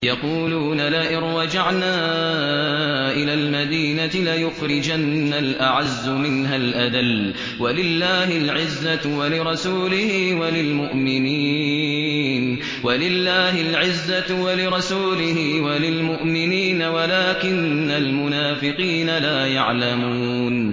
يَقُولُونَ لَئِن رَّجَعْنَا إِلَى الْمَدِينَةِ لَيُخْرِجَنَّ الْأَعَزُّ مِنْهَا الْأَذَلَّ ۚ وَلِلَّهِ الْعِزَّةُ وَلِرَسُولِهِ وَلِلْمُؤْمِنِينَ وَلَٰكِنَّ الْمُنَافِقِينَ لَا يَعْلَمُونَ